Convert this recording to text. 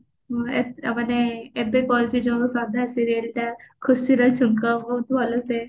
ହଁ ଏ ମାନେ ଏବେ କରିଛି ଯୋଉ ଶ୍ରଦ୍ଧା serial ଟା ଖୁସିର ଛୁଙ୍କ ବହୁତ ଭଲ ସେ